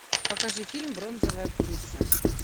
покажи фильм бронзовая птица